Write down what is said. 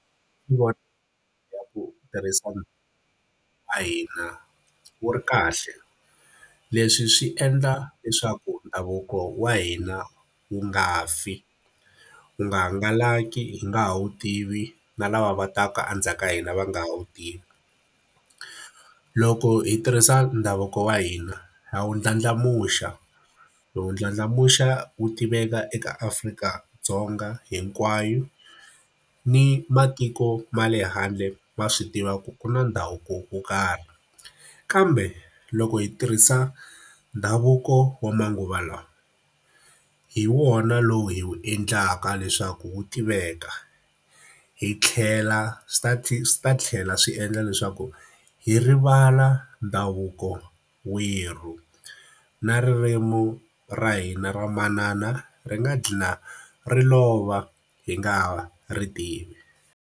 Tirhisana na hina wu ri kahle. Leswi swi endla leswaku ndhavuko wa hina wu nga fi, wu nga hangalaki hi nga ha wu tivi na lava va taka endzhaku ka hina va nga ha wu tivi. Loko hi tirhisa ndhavuko wa hina a wu ndlandlamuxa, hi wu ndlandlamuxa wu tiveka eka Afrika-Dzonga hinkwayo, ni matiko ma le handle ma swi tiva ku ku na ndhavuko wo karhi. Kambe loko hi tirhisa ndhavuko wa manguva lawa, hi wona lowu hi wu endlaka leswaku wu tiveka. Hi tlhela swi swi ta tlhela swi endla leswaku hi rivala ndhavuko werhu, na ririmi ra hina ra manana ri nga dlhina ri lova hi nga ha ri tivi.